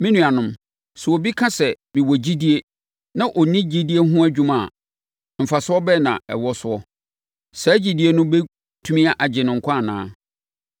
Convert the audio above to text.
Me nuanom, sɛ obi ka sɛ, “Mewɔ gyidie” na ɔnni gyidie no ho dwuma a, mfasoɔ bɛn na ɛwɔ soɔ? Saa gyidie no bɛtumi agye no nkwa anaa?